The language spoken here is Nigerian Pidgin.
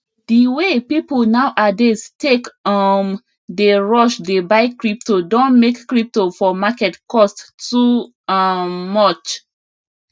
di way people now adays take um dey rush dey buy crypto don make crypo for market cost too um much